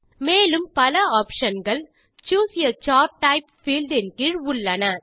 மேலும் பல ஆப்ஷன் கள் choose a chart type field ன் கீழ் உள்ளன